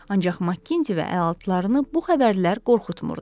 Ancaq Makinzi və əlatlarını bu xəbərlər qorxutmurdu.